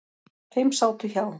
Fimm sátu hjá.